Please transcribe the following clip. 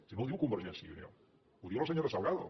si no ho diu convergència i unió ho diu la senyora salgado